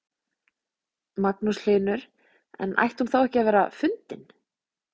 Magnús Hlynur: En ætti hún þá ekki að vera fundin?